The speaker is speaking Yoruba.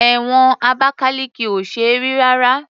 Ẹ̀wọ̀n Abakaliki ò ṣe é rí rárá.